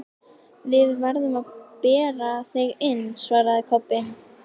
Við erum að bera þig inn, svaraði Kobbi.